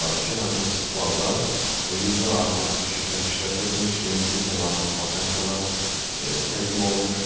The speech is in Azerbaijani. həmin festivalda 100-dən artıq şirkət iştirak etmiş, 1200-dən artıq vakansiyalar təqdim olunmuşdur.